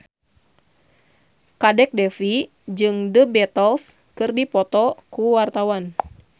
Kadek Devi jeung The Beatles keur dipoto ku wartawan